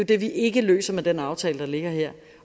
det vi ikke løser med den aftale der ligger her